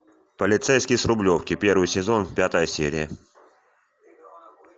полицейский с рублевки первый сезон пятая серия